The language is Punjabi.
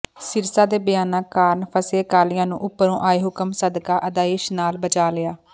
ਸਿਰਸਾ ਦੇ ਬਿਆਨਾਂ ਕਾਰਨ ਫਸੇ ਅਕਾਲੀਆਂ ਨੂੰ ਉਪਰੋਂ ਆਏ ਹੁਕਮਾਂ ਸਦਕਾ ਆਦੇਸ਼ ਨਾਲ ਬਚਾ ਲਿਆ